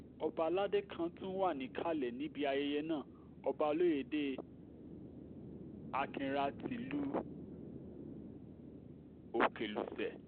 ọba aládé kan tún wà níkàlẹ̀ níbi ayẹyẹ náà ọba olóyédè akinhra tìlùú òkèlùṣe